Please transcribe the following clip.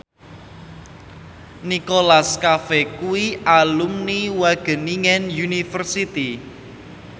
Nicholas Cafe kuwi alumni Wageningen University